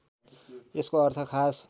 यसको अर्थ खास